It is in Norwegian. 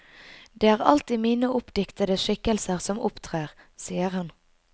Det er alltid mine oppdiktede skikkelser som opptrer, sier hun.